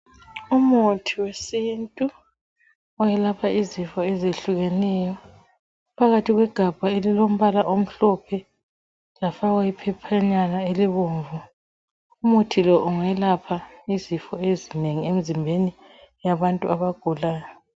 Umuthi wesintu oyelapha izifo ezihlukeneyo phakathi kwegabha elilombala omhlophe kwafakwa iphephanyana elibomvu umuthi lo ungelapha izifo ezinengi emzimbeni yabantu abagulayo.